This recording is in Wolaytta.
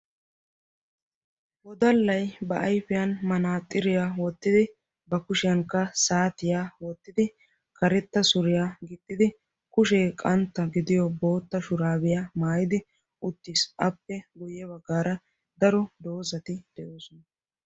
Wodallay ba ayfiyaa manaxiriyaa wottidi, ba kushiyankka saatiya wottidi, karetta suriyaa gixxidi kushe qantta gidiyo bootta shurabiya maayyidi uttiis. appe guyyee baggara daro doozati de'oosona.